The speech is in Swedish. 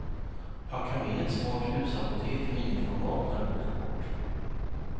Packa med ett smart husapotek i miniformat när du åker bort.